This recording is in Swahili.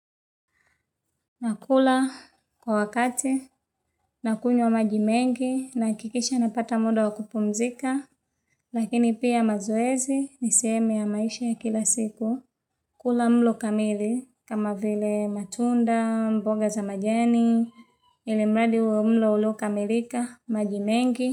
Nakula kwa wakati, nakunywa maji mengi, nahakikisha napata muda wa kupumzika, lakini pia mazoezi, ni sehemu ya maisha ya kila siku. Kula mlo kamili, kama vile matunda, mboga za majani, ilimradi uwe mlo uliokamilika, maji mengi.